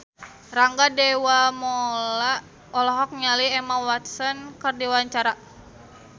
Rangga Dewamoela olohok ningali Emma Watson keur diwawancara